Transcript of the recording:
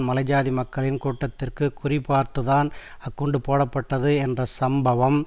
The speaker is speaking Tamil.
மலைஜாதி மக்கள் கூட்டத்திற்கு குறிபார்த்துதான் அக்குண்டு போடப்பட்டது என்ற இச்சம்பவம்